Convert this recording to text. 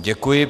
Děkuji.